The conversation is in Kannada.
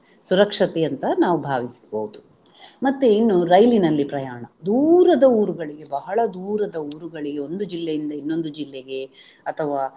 ಸುರಕ್ಷತೆ ಅಂತ ನಾವು ಭಾವಿಸಬಹುದು. ಮತ್ತೆ ಇನ್ನು ರೈಲಿನಲ್ಲಿ ಪ್ರಯಾಣ ದೂರದ ಊರುಗಳಿಗೆ ಬಹಳ ದೂರದ ಊರುಗಳಿಗೆ ಒಂದು ಜಿಲ್ಲೆಯಿಂದ ಇನ್ನೊಂದು ಜಿಲ್ಲೆಗೆ ಅಥವಾ